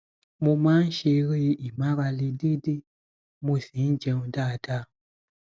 mo máa ń ṣeré ìmárale déédéé mo sì ń jẹun dáadáa